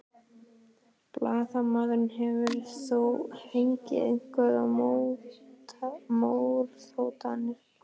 Blaðamaður: Hefur þú fengið einhverjar morðhótanir?